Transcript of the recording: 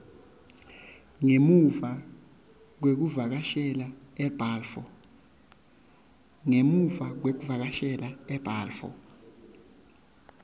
ngemuva kwekuvakashela ebalfour